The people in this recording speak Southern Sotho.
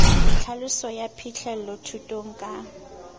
tlhaloso ya phihlello thutong ka